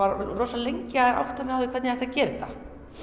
rosa lengi að átta mig á því hvernig ég ætti að gera þetta